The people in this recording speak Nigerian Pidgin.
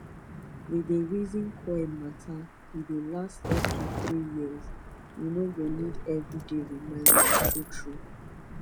we dey reason coil matter e dey last up to 3yrs u no go need everyday reminder true true